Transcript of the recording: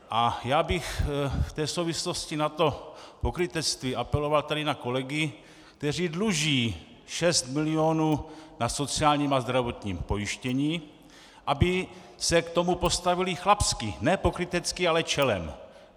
A já bych v té souvislosti na to pokrytectví apeloval tady na kolegy, kteří dluží 6 milionů na sociálním a zdravotním pojištění, aby se k tomu postavili chlapsky, ne pokrytecky, ale čelem.